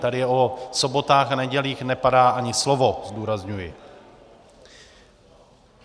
Tady o sobotách a nedělích nepadá ani slovo, zdůrazňuji.